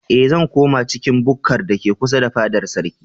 Eh, zan koma cikin bukkar da ke kusa da fadar sarkin.